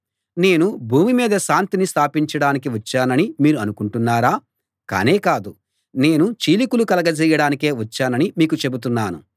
నేను భూమి మీద శాంతిని స్థాపించడానికి వచ్చానని మీరు అనుకుంటున్నారా కానే కాదు నేను చీలికలు కలగజేయడానికే వచ్చానని మీకు చెబుతున్నాను